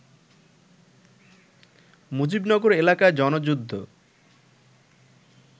মুজিবনগর এলাকায় জনযুদ্ধ